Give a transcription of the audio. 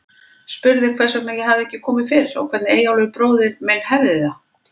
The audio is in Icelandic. Spurði hvers vegna ég hefði ekki komið fyrr, og hvernig Eyjólfur bróðir minn hefði það.